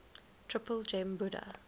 triple gem buddha